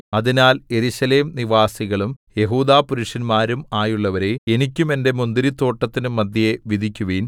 അതിനാൽ യെരൂശലേം നിവാസികളും യെഹൂദാപുരുഷന്മാരും ആയുള്ളവരേ എനിക്കും എന്റെ മുന്തിരിത്തോട്ടത്തിനും മദ്ധ്യേ വിധിക്കുവിൻ